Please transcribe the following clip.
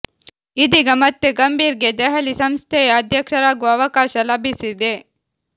ಇದೀಗ ಮತ್ತೆ ಗಂಭೀರ್ ಗೆ ದೆಹಲಿ ಸಂಸ್ಥೆಯ ಅಧ್ಯಕ್ಷರಾಗುವ ಅವಕಾಶ ಲಭಿಸಿದೆ